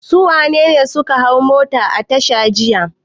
Su wane ne suka hau mota a tasha jiya?